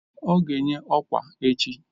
Ọ ga-enye ọkwa echi